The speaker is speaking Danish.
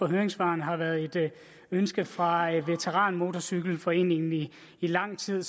af høringssvarene har været et ønske fra veteranmotorcykelforeningen i lang tid